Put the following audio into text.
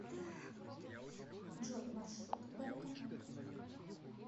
джой маршрут к банкомату